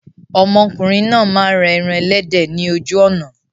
Ọmọkùnrin náà máa ń ra ẹran ẹlẹ́dẹ̀ ni ojú ọ̀nà.